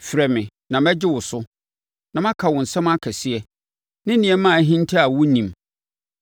‘Frɛ me na mɛgye wo so, na maka wo nsɛm akɛseɛ ne nneɛma a ahinta a wonnim.